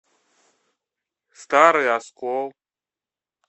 старый оскол